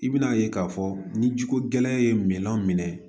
I bɛna ye k'a fɔ ni ji ko gɛlɛn ye minɛn